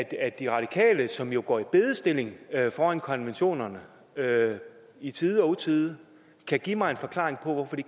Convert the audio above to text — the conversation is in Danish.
at de radikale som jo går i bedestilling foran konventionerne i tide og utide kan give mig en forklaring på hvorfor de